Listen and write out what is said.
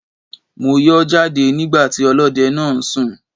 Mo yọ́ jáde nígbà tí ọlọ́dẹ náà ń sùn.